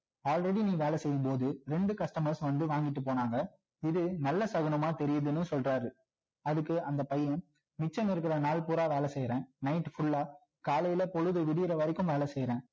already நீ வேலை செய்யும் போது ரெண்டு customers வந்து வாங்கிட்டு போனாங்க இது நல்ல சகுனமா தெரியுதுன்னு சொல்றாரு அதுக்கு அந்த பையன் மிச்சம் இருக்கிற நாள் பூரா வேலை செய்றேன் night full லா காலையில பொழுது விடியிற வரைக்கும் வேலை செய்யுறேன்